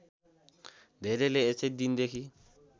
धेरैले यसै दिनदेखि